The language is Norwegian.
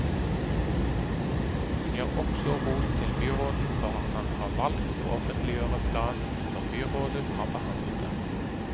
Hun gir også ros til byråden for at han har valgt å offentliggjøre planen før byrådet har behandlet den.